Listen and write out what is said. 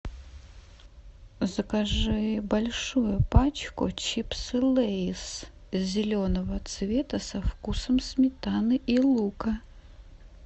закажи большую пачку чипсы лейс зеленого цвета со вкусом сметаны и лука